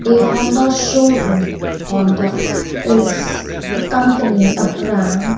a honda showroom honda is a company a brand.